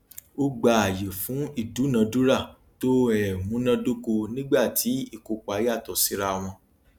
o gba aaye fun idunadura to um munadoko nigba tí ikopa yato sira wọn